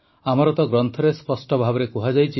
ଆମର ତ ଗ୍ରନ୍ଥରେ ସ୍ପଷ୍ଟ ଭାବେ କୁହାଯାଇଛି